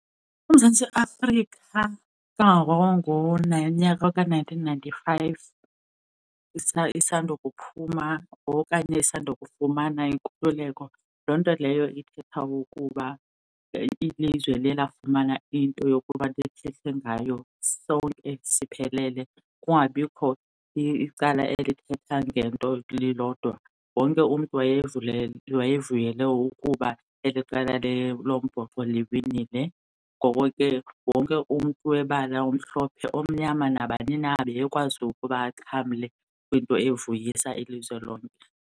uMzantsi Afrika ngonyaka ka-nineteen ninety-five isandokuphuma okanye isandokufumana inkululeko, loo nto leyo ithetha ukuba ilizwe liye lafumana into yokuba sithethe ngayo sonke siphelele kungabikho icala elithetha ngento lilodwa. Wonke umntu wayevule wayevuyela ukuba eli qela lombhoxo liwinile, ngoko ke wonke umntu webala omhlophe, omnyama, nabani na ebekwazi ukuba axhamle kwinto evuyisa ilizwe lonke.